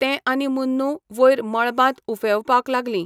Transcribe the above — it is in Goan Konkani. तें आनी मुन्नू वयर मळबांत उफेवपाक लागलीं.